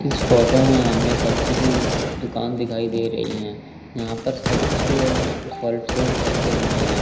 इस फोटो में हमें सब्जी की दुकान दिखाई दे रही हैं यहां पर सब्जी और फल फ्रूट रखे हुए हैं।